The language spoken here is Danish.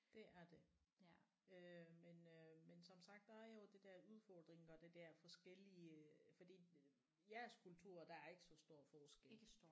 Det er det øh men øh men som sagt der er jo det der udfordringer og det der forskellige fordi jeres kultur der er ikke så stor forskel